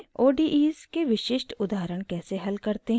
* odes के विशिष्ट उदाहरण कैसे हल करते हैं और